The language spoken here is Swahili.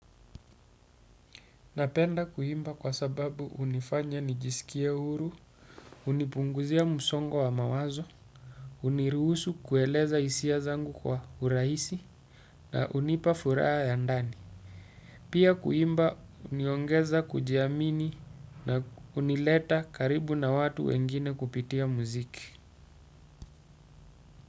Napenda kuimba kwa sababu hunifanya nijisikie huru, hunipunguzia msongo wa mawazo, uniruhusu kueleza hisia zangu kwa urahisi, na hunipa furaha ya ndani. Pia kuimba huniongeza kujiamini na kunileta karibu na watu wengine kupitia mziki.